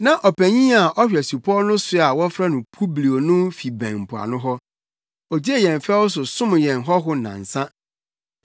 Na ɔpanyin a ɔhwɛ supɔw no so a wɔfrɛ no Publio no fi bɛn mpoano hɔ; ogyee yɛn fɛw so som yɛn hɔho nnansa.